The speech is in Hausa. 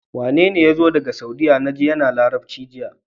Wane yazo daka saudiya naji yAna labarci jiya